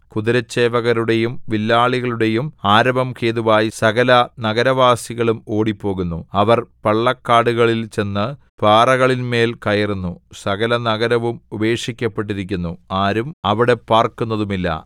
കുതിരച്ചേവകരുടെയും വില്ലാളികളുടെയും ആരവം ഹേതുവായി സകല നഗരവാസികളും ഓടിപ്പോകുന്നു അവർ പള്ളക്കാടുകളിൽ ചെന്ന് പാറകളിന്മേൽ കയറുന്നു സകല നഗരവും ഉപേക്ഷിക്കപ്പെട്ടിരിക്കുന്നു ആരും അവിടെ പാർക്കുന്നതുമില്ല